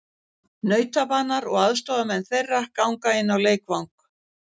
Nautabanar og aðstoðarmenn þeirra ganga inn á leikvang.